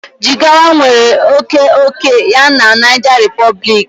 Jigawa nwere oke ókè ya na Niger Republic